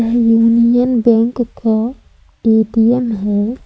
Union bank का ATM है।